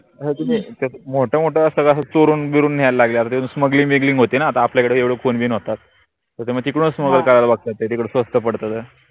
मोट मोट अस कस चोरून बिरून न्यायला लागले अन त्याच smuggling बिगलिंग होते ना आता आपल्याकडे एवढे खून बिन होतात त्याच्यामुळे तिकडूनच कारन ते तिकडं स्वस्त पडत